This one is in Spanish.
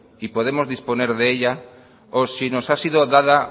y podemos disponer de ella o si nos ha sido dada